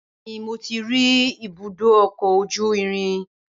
Bẹẹni mo ti ri ibùdó ọkọ ojú irin